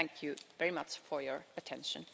Thank you very much for your attention.